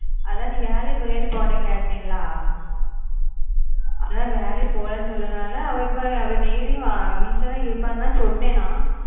அதான் நீ வேளைக்கு போறியான்னு இப்போ உன்கிட்ட கேட்டேன் ல அதான் வேளைக்கு போலன்னு சொன்னதுனால அவ இப்போ வீட்ல தான் இருப்பான்னு சொன்னான் நான்